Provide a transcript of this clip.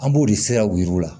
An b'o de siraw yir'u la